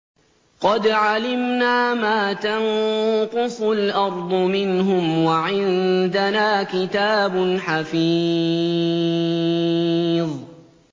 قَدْ عَلِمْنَا مَا تَنقُصُ الْأَرْضُ مِنْهُمْ ۖ وَعِندَنَا كِتَابٌ حَفِيظٌ